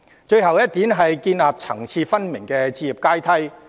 最後一點，建立層次分明的置業階梯。